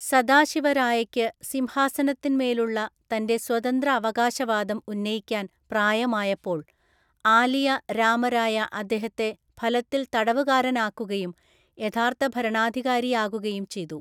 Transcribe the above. സദാശിവരായയ്ക്ക് സിംഹാസനത്തിന് മേലുള്ള തൻ്റെ സ്വതന്ത്ര അവകാശവാദം ഉന്നയിക്കാൻ പ്രായമായപ്പോൾ, ആലിയ രാമരായ അദ്ദേഹത്തെ ഫലത്തില്‍ തടവുകാരനാക്കുകയും യഥാർത്ഥ ഭരണാധികാരിയാകുകയും ചെയ്തു.